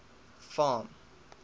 farm